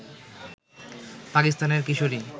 পাকিস্তানের কিশোরী